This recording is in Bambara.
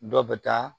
Dɔ bɛ taa